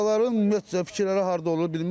Piyadaların ümumiyyətcə fikirləri harda olur bilmirəm.